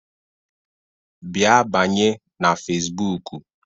Bịa banye na Fesbụụk!